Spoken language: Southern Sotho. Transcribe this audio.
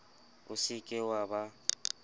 o se ke wa ba